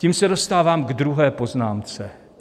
Tím se dostávám ke druhé poznámce.